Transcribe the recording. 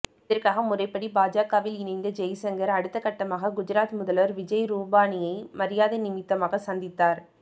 இதற்காக முறைப்படி பாஜகவில் இணைந்த ஜெய்சங்கர் அடுத்தகட்டமாக குஜராத் முதல்வர் விஜய் ரூபானியை மரியாதை நிமித்தமாக சந்தித்தார்